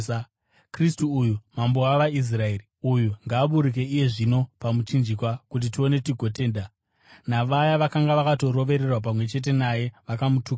Kristu uyu, Mambo wavaIsraeri uyu, ngaaburuke iye zvino pamuchinjikwa, kuti tione tigotenda.” Navaya vakanga vakarovererwa pamwe chete naye vakamutukawo.